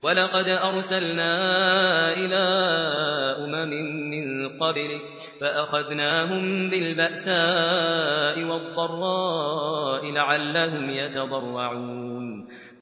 وَلَقَدْ أَرْسَلْنَا إِلَىٰ أُمَمٍ مِّن قَبْلِكَ فَأَخَذْنَاهُم بِالْبَأْسَاءِ وَالضَّرَّاءِ لَعَلَّهُمْ يَتَضَرَّعُونَ